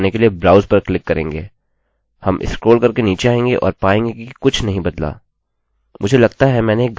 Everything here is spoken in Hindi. हम स्क्रोल करके नीचे आएँगे और पाएँगे कि कुछ नहीं बदला